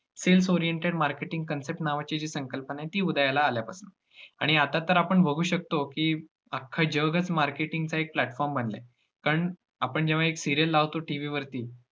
Sales oriented marketing concept नावाची जी संकल्पना आहे ती उदयाला आल्यापासनं आणि आता तर आपण बघु शकतो की अख्ख जगच marketing च एक platform बनलय पण, आपण जेव्हा एक serial लावतो TV वरती